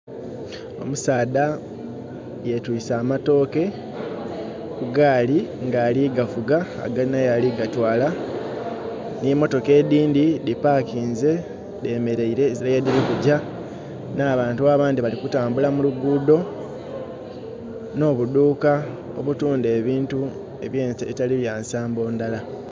Omusaadha yetwise amatooke ku gali nga ali gavuga alina yali kuga twala. Nhi motoka edhindhi dhipakinze ezira ye dhiri kugya. N'abantu abandhi bali ku tambula mu lugudho nho budhuka obutundha ebintu ebitali byansambo ndhala.